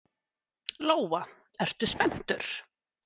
Lóa: Ertu spenntur?